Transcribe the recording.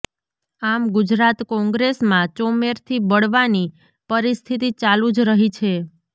આમ ગુજરાત કોંગ્રેસમાં ચોમેરથી બળવાની પરિસ્થિતિ ચાલુ જ રહી છે